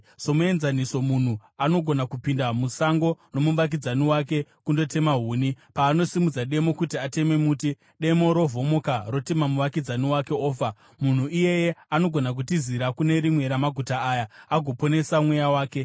Somuenzaniso, munhu anogona kupinda musango nomuvakidzani wake kundotema huni, paanosimudza demo kuti ateme muti, demo rovhomoka rotema muvakidzani wake ofa. Munhu iyeye anogona kutizira kune rimwe ramaguta aya agoponesa mweya wake.